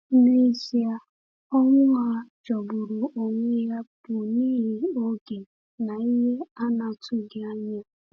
N’ezie, ọnwụ ha jọgburu onwe ya bụ n’ihi oge na ihe a na-atụghị anya.